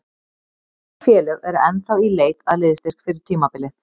Mörg félög eru ennþá í leit að liðsstyrk fyrir tímabilið.